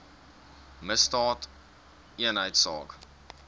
misdaadeenheidsaak